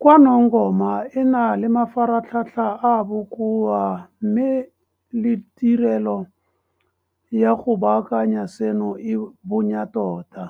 KwaNongoma e na le mafaratlhatlha a a bokoa mme le tirelo ya go baakanya seno e bonya tota.